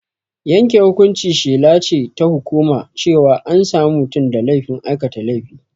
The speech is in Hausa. Yanke hukunci shela ce ta hukuma cewa an sami mutum da laifin aikata laifi.